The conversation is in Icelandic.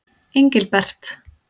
Engilbert